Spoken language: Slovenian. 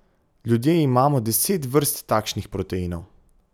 Ljudje imamo deset vrst takšnih proteinov.